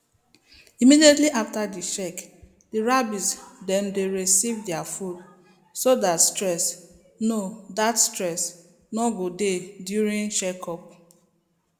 immediately after the check the rabbits dem dey receive their food so that stress no that stress no go dey during checkup